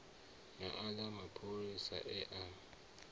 na aḽa mapholisa e a